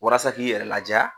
Walasa k'i yɛrɛ ladiya